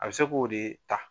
A bi se k'o de ta.